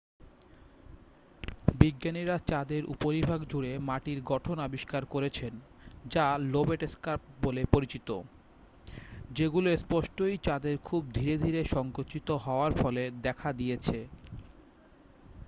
বিজ্ঞানীরা চাঁদের উপরিভাগ জুড়ে মাটির গঠন আবিষ্কার করেছেন যা লোবেট স্কার্প বলে পরিচিত যেগুলো স্পষ্টতই চাঁদের খুব ধীরে ধীরে সঙ্কুচিত হওয়ার ফলে দেখা দিয়েছে